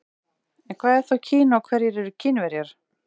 En hvað er þá Kína og hverjir eru Kínverjar?